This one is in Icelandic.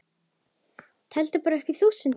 Teldu bara upp að þúsund.